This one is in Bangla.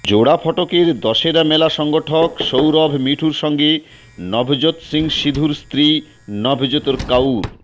জোড়া ফটকের দশেরা মেলা সংগঠক সৌরভ মিঠুর সঙ্গে নভজোত সিং সিধুর স্ত্রী নভজোত কাউর